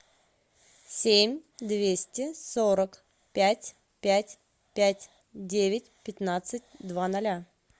семь двести сорок пять пять пять девять пятнадцать два ноля